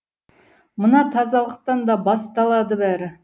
мына тазалықтан да басталады бәрі